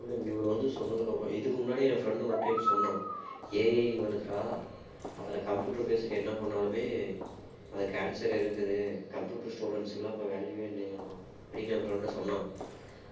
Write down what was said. இவர் வந்து சொன்னதுக்கு அப்புறம் இதுக்கு முன்னாடி ஏன் friend ஒரு time சொன்னான் AI வருதுடா அதுல computer based என்ன பண்ணாலுமே அதுக்கு answer இருக்குது computer students க்கு எல்லாம் இப்ப value வே இல்லையாம் அப்படின்னு என் friend சொன்னான்